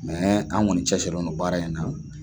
Mɛ an kɔni cɛsirilen don baara in na.